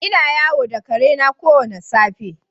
Ina yawo da ƙare na kowane safe.